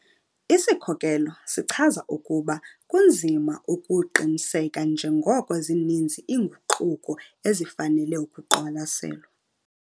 "Isikhokelo" sichaza ukuba kunzima ukuqiniseka njengoko zininzi iinguquko ezifanele ukuqwalaselwa.